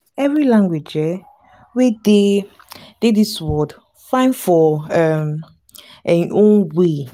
every language um wey dey dey dis world fine for um em own way.